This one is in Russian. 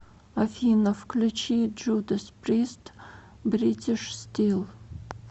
афина включи джудас прист бритиш стил